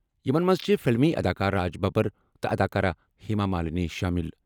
یِمَن منٛز چھِ فلمی اداکار راج ببر تہٕ اداکارہ ہیما مالنی شٲمِل۔